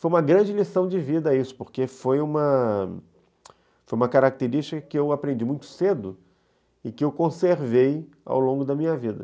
Foi uma grande lição de vida isso, porque foi uma característica que eu aprendi muito cedo e que eu conservei ao longo da minha vida.